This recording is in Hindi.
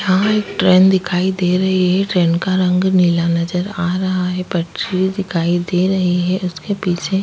यहाँ एक ट्रेन दिखाई दे रही है ट्रेन का रंग नीला नजर आ रहा है पटरी दिखाई दे रही है उसके पीछे --